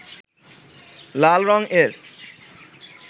লাল রঙ-এর